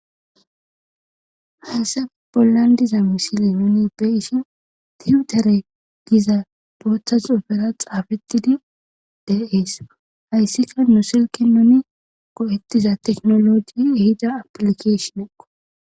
hayse bollan diza misili nuni be ishin tiutere giza booththa xuufera xaafetidi deees hayssika nu silki nuni go7ettiza teknologi hida aplikeshineko